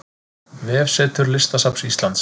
Vefsetur Listasafns Íslands